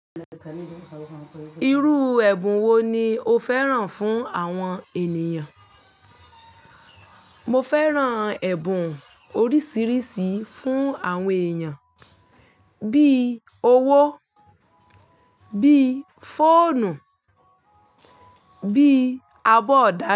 Irú ẹ̀bùn wo ni o fẹ́ràn fún àwọn ènìyàn? Mo fẹ́ràn ẹ̀bùn oríṣiríṣi fún àwọn èèyàn bí i owó, bí i fóònù, bí i abọ́ ọ̀dà.